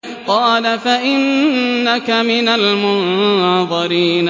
قَالَ فَإِنَّكَ مِنَ الْمُنظَرِينَ